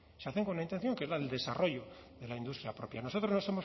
se hacen con una intención que es la del desarrollo de la industria porque nosotros